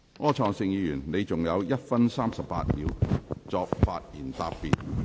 柯創盛議員，你還有1分38秒作發言答辯。